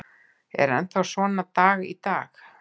Er svo enn þann dag í dag.